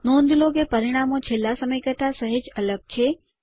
નોંધ લો કે પરિણામો છેલ્લા સમય કરતા સહેજ અલગ છે